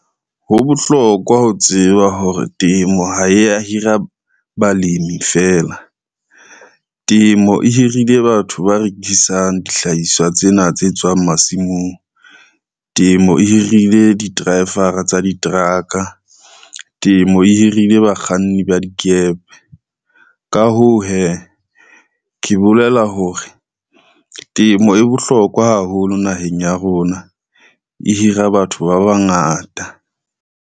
Ho bohlokwa ho tseba hore temo ha e ya hira balemi fela. Temo e hirile batho ba rekisang dihlahiswa tsena tse tswang masimong, temo e hirile di-driver tsa diteraka, temo e hirile bakganni ba dikepe. Ka hoo, hee ke bolela hore temo e bohlokwa haholo naheng ya rona, e hira batho ba bangata.